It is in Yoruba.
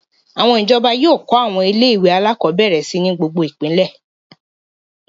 Àwọn ìjọba yóò kọ́ àwọn ilé-ìwé alákọ̀ọ́bẹ̀rẹ̀ si ní gbogbo ìpínlẹ̀.